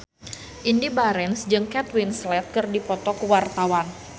Indy Barens jeung Kate Winslet keur dipoto ku wartawan